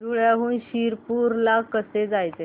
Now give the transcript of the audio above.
धुळ्याहून शिरपूर ला कसे जायचे